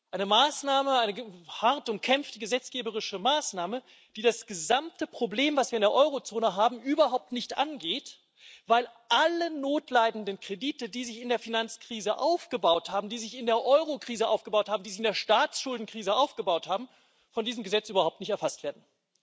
Eine Maßnahme, eine hart umkämpfte gesetzgeberische Maßnahme, die das gesamte Problem, das wir in der Eurozone haben, überhaupt nicht angeht, weil alle notleidenden Kredite, die sich in der Finanzkrise aufgebaut haben, die sich in der Eurokrise aufgebaut haben, die sich in der Staatsschuldenkrise aufgebaut haben, von diesem Gesetz überhaupt nicht erfasst werden.